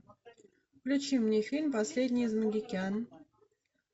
включи мне фильм последний из могикан